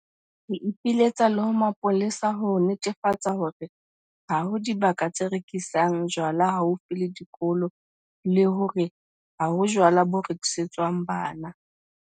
Re ipiletsa le ho mapolesa ho netefatsa hore ha ho dibaka tse rekisang jwala haufi le dikolo le hore ha ho jwala bo rekisetswang bana.